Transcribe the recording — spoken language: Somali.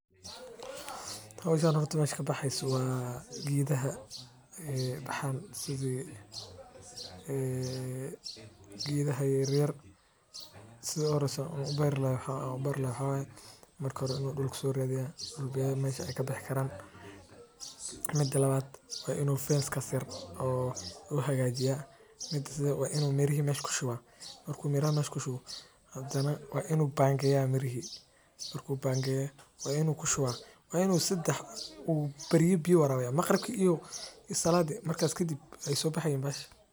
Howshan horta meesha kabaxeyso waa geedaha baxaan geedaha yaryar marka hore inaan dul aay kabixi karaan soo radiyaa waa in mira lagu shubaa oo biya la waraabiya.